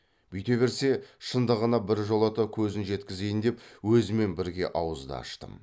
бүйте берсе шындығына біржолата көзін жеткізейін деп өзімен бірге ауыз да аштым